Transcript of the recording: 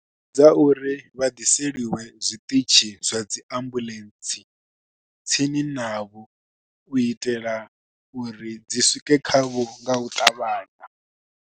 Dza uri vha ḓiseliwe zwiṱitshi zwa dzi ambuḽentse tsini navho, u itela uri dzi swike khavho nga u ṱavhanya.